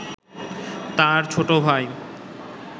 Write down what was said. তাঁর ছোট ভাই